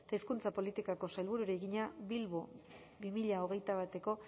eta hizkuntza politikako sailburuari egina bilbo bi mila hogeita bateko